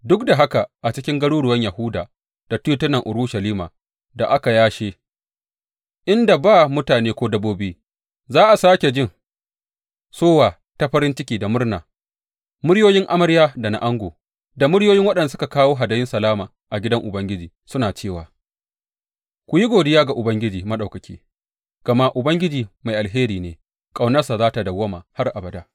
Duk da haka a cikin garuruwan Yahuda da titunan Urushalima da aka yashe, inda ba mutane ko dabbobi, za a sāke jin sowa ta farin ciki da murna, muryoyin amarya da na ango, da muryoyin waɗanda suka kawo hadayun salama a gidan Ubangiji suna cewa, Ku yi godiya ga Ubangiji Maɗaukaki, gama Ubangiji mai alheri ne; ƙaunarsa za tă dawwama har abada.